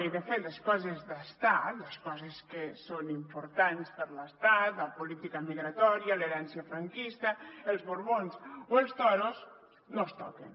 i de fet les coses d’estat les coses que són importants per a l’estat la política migratòria l’herència franquista els borbons o els toros no es toquen